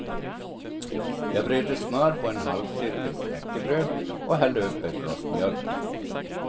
Jag bredde smör på en halvcirkel knäckebröd och hällde upp ett glas mjölk.